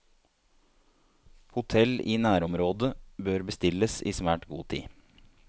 Hotell i nærområdet bør bestilles i svært god tid.